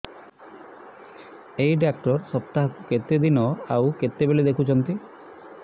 ଏଇ ଡ଼ାକ୍ତର ସପ୍ତାହକୁ କେତେଦିନ ଆଉ କେତେବେଳେ ଦେଖୁଛନ୍ତି